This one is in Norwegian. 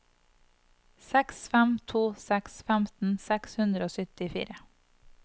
seks fem to seks femten seks hundre og syttifire